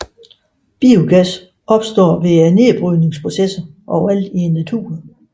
Biogas opstår ved nedbrydningsprocesser overalt i naturen